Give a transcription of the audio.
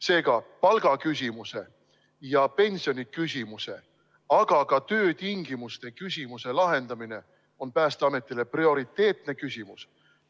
Seega, palgaküsimuse ja pensioniküsimuse, aga ka töötingimuste küsimuse lahendamine on Päästeametile prioriteetne küsimus.